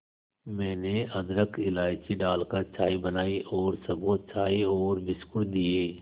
मैंने अदरक इलायची डालकर चाय बनाई और सबको चाय और बिस्कुट दिए